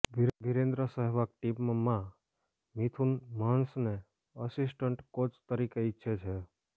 વીરેન્દ્ર સેહવાગ ટીમમાં મિથુન મન્હસને assistant coach તરીકે ઇચ્છે છે